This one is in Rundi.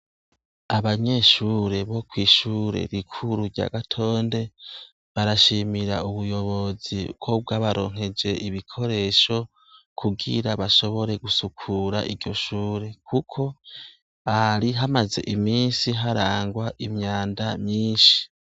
Abanyeshure bo kw'ishure rikuru rya gatonde barashimira ubuyobozi bwo bwabaronkeje ibikoresho kubwira bashobore gusukura iryo shure, kuko ari hamaze imisi harangwa imyanda myinshi.